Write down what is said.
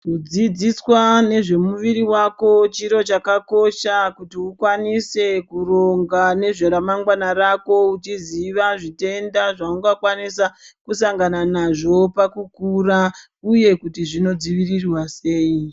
Kudzidziswa nezvemuviri wako chiro chakakosha kuti ukwanise kuronga nezve ramangwana rako uchiziva zvitenda zvaungakwanisa kusangana nazvo pakukura uye kuti zvino dzivirirwa sei .